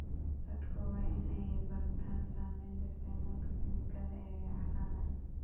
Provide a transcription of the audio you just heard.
Dadku waa in ay bartaan saameynta isticmaalka kiimikada ee carrada.